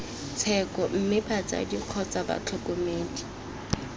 tsheko mme batsadi kgotsa batlhokomedi